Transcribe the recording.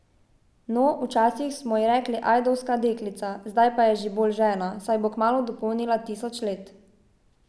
No, včasih smo ji rekli Ajdovska deklica, zdaj je pa že bolj žena, saj bo kmalu dopolnila tisoč let.